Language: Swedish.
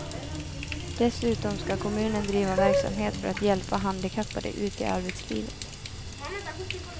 Dessutom ska kommunen driva verksamhet för att hjälpa handikappade ut i arbetslivet.